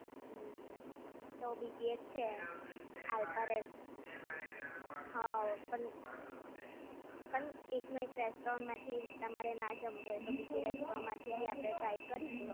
હમ્મ તો બી એક છે આલ્ફા રેસ હા પણ પણ એક નું એક રેસ્ટોરન્ટ માંથી તમારે ના જમવું હોય તો બીજી રેસ્ટોરન્ટ માંથી બી આપણે ટ્રાય કારીશું.